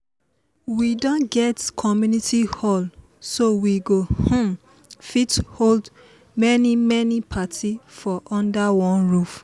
we don get community hall so we go um fit hold many many party for under one roof